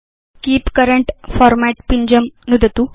keep current format पिञ्जं नुदतु